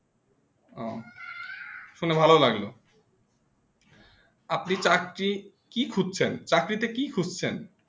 শুনে ভালো লাগলো আপনি চাকরি কি খুঁজছেন চাকরিতে কি খুঁজছেন